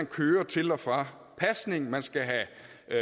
køre til og fra pasning man skal have